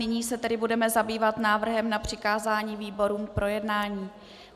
Nyní se tedy budeme zabývat návrhem na přikázání výborům k projednání.